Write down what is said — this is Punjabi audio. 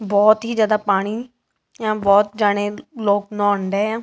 ਬਹੁਤ ਹੀ ਜਿਆਦਾ ਪਾਣੀ ਬਹੁਤ ਜਣੇ ਲੋਕ ਨਹੋਣ ਡਏ ਆ।